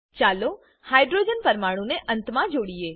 ચાલો હાઈડ્રોજન પરમાણુ ને અંતમાં જોડીએ